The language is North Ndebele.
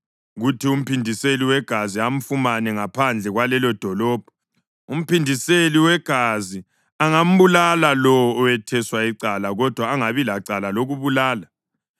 kuthi umphindiseli wegazi amfumane ngaphandle kwalelodolobho, umphindiseli wegazi angambulala lowo owetheswe icala kodwa angabi lacala lokubulala.